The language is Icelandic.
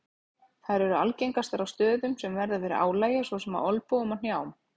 Þær eru algengastar á stöðum sem verða fyrir álagi svo sem á olnbogum og hnjám.